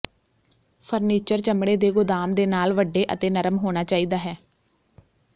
furniture ਚਮੜੇ ਦੇ ਗੋਦਾਮ ਦੇ ਨਾਲ ਵੱਡੇ ਅਤੇ ਨਰਮ ਹੋਣਾ ਚਾਹੀਦਾ ਹੈ